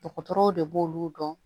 Dɔgɔtɔrɔw de b'olu dɔn